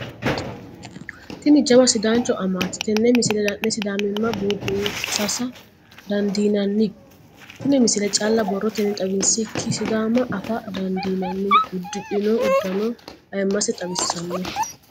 Tini jawa sidancho amaati, tene misile la'ne sidaamimma buuxisissa dandinnani, tini misile calla borotenne xawi'nsiki sidaama afa dandinanni, udidhino udanonni ayimase xawisano